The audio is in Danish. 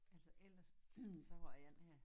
Altså ellers så har jeg den her